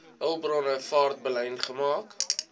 hulpbronne vaartbelyn gemaak